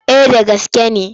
Eh da gaske ne.